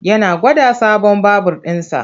Yana gwada sabon babur ɗinsa.